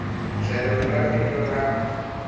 tlhelo ra vito ra n